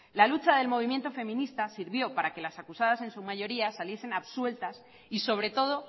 la lucha del movimiento feminista sirvió para que las acusadas en su mayoría saliesen absueltas y sobre todo